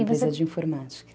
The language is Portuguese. Empresa de informática.